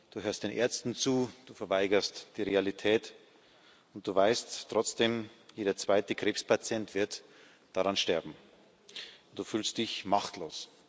Du hörst den Ärzten zu, du verweigerst die Realität, und du weißt trotzdem Jeder zweite Krebspatient wird daran sterben. Du fühlst dich machtlos.